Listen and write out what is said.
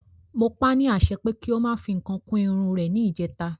Mo pa ni àṣẹ pé kí o máa fi nǹkan kún Irun rè ni ìjèta